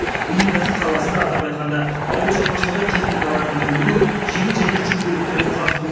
өнеркәсіп саласында атап айтқанда ауыл шаруашылығы техникаларын өндіру жеңіл және жүк көліктерін құрастыру